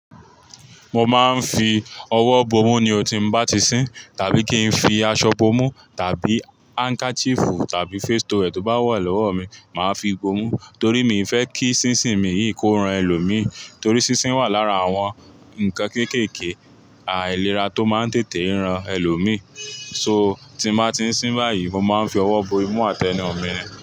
Mo máa ń fi ọwọ́ bomú ní otí mo bá ti ń sín tàbí kí n fi aṣọ bomú tàbí handkerchief tàbí face towel tó bá wà lọ́wọ́ mi, màá fi bomú torí mi fẹ́ kí sísìn mi yìí kó ran ẹlòmíí torí sísìn wà lára àwọn ǹkan kéékèèké, àìlera tó máa ń tètè rán ẹlòmíí. So tí mo bá ti ń sín báyìí, mo máa ń fi ọwọ́ bomú àti ẹnu mi ni.